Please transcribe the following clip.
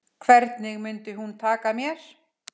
Hvernig mundi hún taka mér?